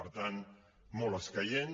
per tant molt escaient